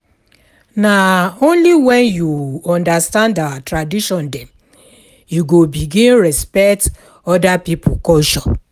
Na only wen you understand our tradition dem you go begin respect oda pipo culture.